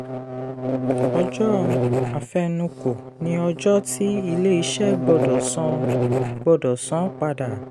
ọjọ́ àfẹnukò ni ọjọ́ tí ilé-iṣẹ́ gbọ́dọ̀ san gbọ́dọ̀ san padà.